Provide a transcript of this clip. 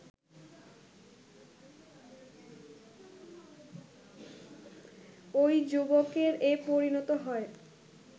ওই যুবকের এ পরিণত হয়